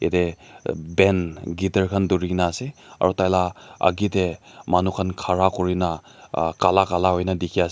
yatey band guiter khan dhurigena ase aro taila agey tey manukhan khara kurina kala kala huina dikhi ase.